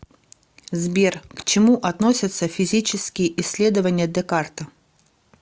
сбер к чему относятся физические исследования декарта